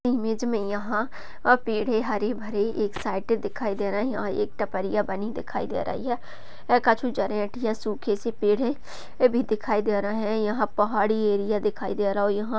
Image मे यहा पेड़ है हरे भरे एक साइड दिखाई दे रहै है। एक टपरिया बनी दिखाई दे रही है। सूखे से पेड़ है ये भी दिखाई दे रहै है। यहा पहाड़ी एरिया दिखाई दे रहा है और यह--